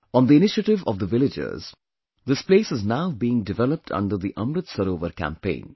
On the initiative of the villagers, this place is now being developed under the Amrit Sarovar campaign